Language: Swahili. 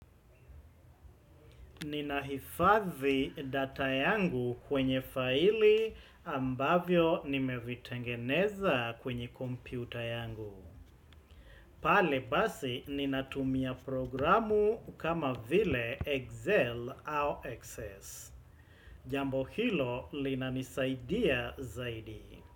Ninahifadhi data yangu kwenye faili ambavyo nimevitengeneza kwenye kompyuta yangu. Pale basi ninatumia programu kama vile Excel au Access. Jambo hilo linanisaidia zaidi.